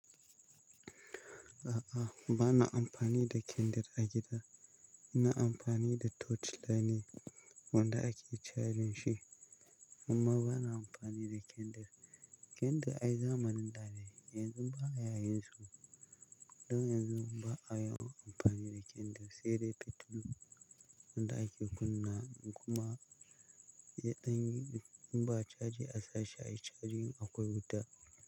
A'a, ba na amfani da kyandil a gida. Ina amfani da torch light ne wanda ake charging shi, amma ba na amfani da kyandil. Kyandil ai zamanin dane, yanzu ba a yayin sa. Don yanzu ba a yawan amfani da kyandil sai dai fetur wanda ake kunna kuma in ba a charge a sashi ai charging akwai wuta.